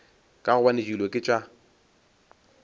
ka gobane dilo ke tša